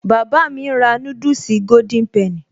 Bàbá mi ń rà núdùsì Golden penny